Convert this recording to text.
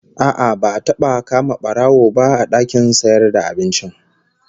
A'a, ba'a taba kama barawon, ba a dakin sayarvda abincin